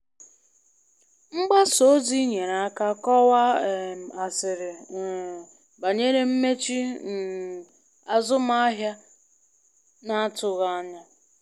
Mgbasa ozi nyere aka kọwaa um asịrị um banyere mmechi um azụmahịa na-atụghị anya.